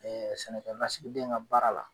sɛnɛkɛ lasigiden ka baara la.